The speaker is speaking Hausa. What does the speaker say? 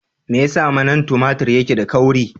Me yasa manan tumatur ke da kauri?